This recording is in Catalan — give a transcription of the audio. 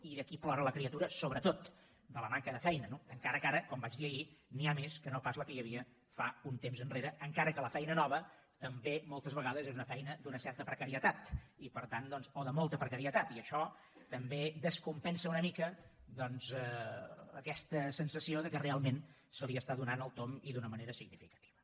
i d’aquí plora la criatura sobretot de la manca de feina no encara que ara com vaig dir ahir n’hi ha més que no pas n’hi havia fa un temps enrere encara que la feina nova també moltes vegades és una feina d’una certa precarietat o de molta precarietat i això també descompensa una mica aquesta sensació que realment s’hi està donant el tomb i d’una manera significativa